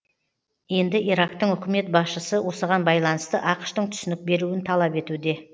енді ирактың үкімет басшысы осыған байланысты ақш тың түсінік беруін талап етуде